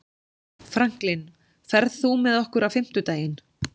Franklin, ferð þú með okkur á fimmtudaginn?